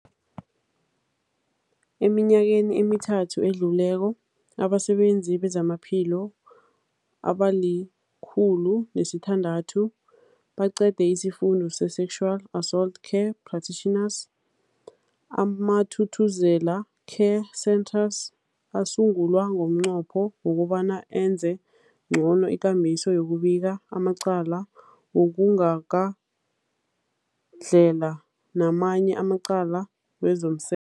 Eminyakeni emithathu edluleko, abasebenzi bezamaphilo abali-106 baqede isiFundo se-Sexual Assault Care Practitioners. AmaThuthuzela Care Centres asungulwa ngomnqopho wokobana enze ngcono ikambiso yokubika amacala wokugagadlhela namanye amacala wezomse